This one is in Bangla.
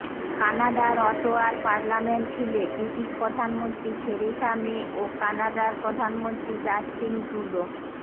কানাডার অটোয়ার পার্লামেন্ট হিলে ব্রিটিশ প্রধানমন্ত্রী থেরেসা মে ও কানাডার প্রধানমন্ত্রী জাস্টিন ট্রুডো